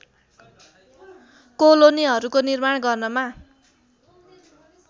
कोलोनीहरूको निर्माण गर्नमा